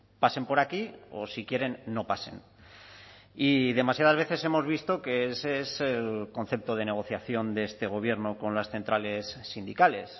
pasen por aquí o si quieren no pasen y demasiadas veces hemos visto que ese es el concepto de negociación de este gobierno con las centrales sindicales